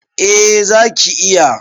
A zaki iya